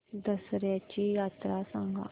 दसर्याची यात्रा सांगा